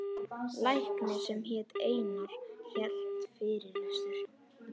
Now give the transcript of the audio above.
Læknir sem hét Einar hélt fyrirlestur.